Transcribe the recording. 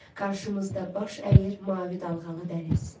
Qarşımızda baş əyir mavi dalğalı dəniz.